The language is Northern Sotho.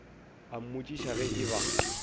a mmotšiša ge e ba